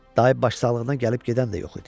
Dayı baş sağlığına gəlib gedən də yox idi.